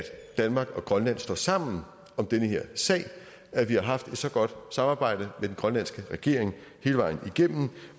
danmark og grønland står sammen om den her sag at vi har haft et så godt samarbejde med den grønlandske regering hele vejen igennem